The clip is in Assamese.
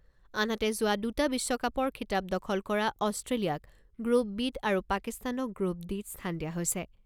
আনহাতে, যোৱা দুটা বিশ্বকাপৰ খিতাপ দখল কৰা অষ্ট্ৰেলিয়াক গ্ৰুপ বিত আৰু পাকিস্তানক গ্ৰুপ ডিত স্থান দিয়া হৈছে।